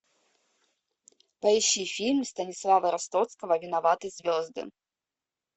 поищи фильм станислава ростовского виноваты звезды